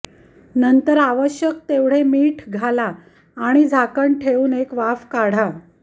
नंतर आवश्यक तेवढे मीठ घाला आणि झाकण ठेवून एक वाफ काढा